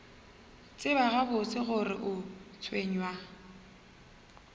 tseba gabotse gore o tshwenywa